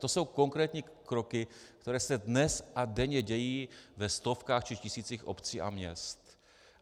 To jsou konkrétní kroky, které se dnes a denně dějí ve stovkách či tisících obcí a měst.